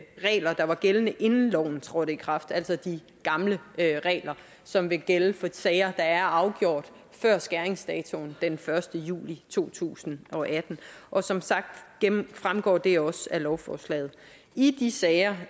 regler der var gældende inden loven trådte i kraft altså de gamle regler som vil gælde for sager der er afgjort før skæringsdatoen den første juli to tusind og atten og som sagt fremgår det også af lovforslaget i de sager